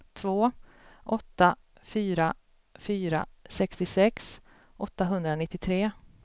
två åtta fyra fyra sextiosex åttahundranittiotre